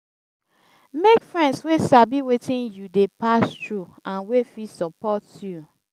mek friends wey sabi wetin yu dey pass thru nd wey fit sopot yu